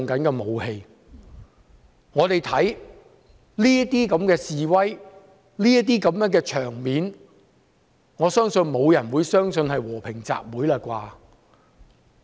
我們所見這樣的示威場面，我相信沒有人認為是和平集會。